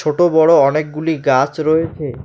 ছোট বড় অনেকগুলি গাছ রয়েছে।